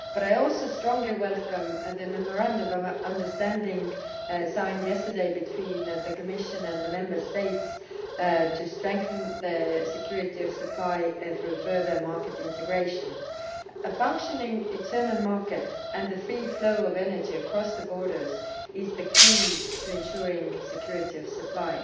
I also strongly welcome the Memorandum of Understanding signed yesterday between the Commission and the Member States to strengthen security of supply through further market integration. A functioning internal market and the free flow of energy across borders is the key to ensuring security of supply.